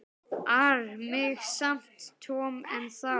ar mig samt Tom ennþá.